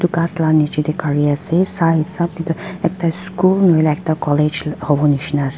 ghas la niche te gari ase sai hisab te toh ekta school nahoi le ekta college howo nishe na ase.